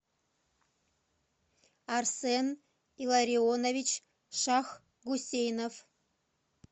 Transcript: арсен илларионович шахгусейнов